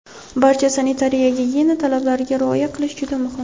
barcha sanitariya-gigiyena talablariga rioya qilish juda muhim.